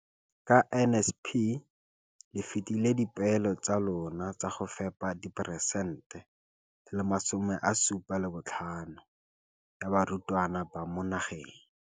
Ka NSNP le fetile dipeelo tsa lona tsa go fepa masome a supa le botlhano a diperesente ya barutwana ba mo nageng.